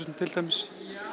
til dæmis